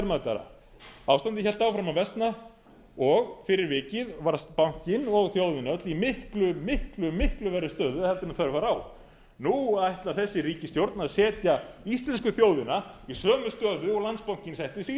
ekkert verðmætara ástandið hélt áfram að versna og fyrir vikið varð bankinn og þjóðin öll í miklu miklu verri stöðu heldur en þörf var á nú ætlar þessi ríkisstjórn að setja íslensku þjóðina í sömu stöðu og landsbankinn setti sig